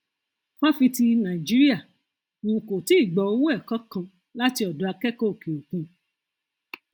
fáfitì nàìjíríà um kò tíì gba owó ẹkọ kàn láti ọdọ akẹkọọ òkè òkun